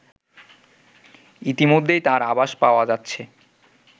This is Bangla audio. ইতিমধ্যেই তার আভাস পাওয়া যাচ্ছে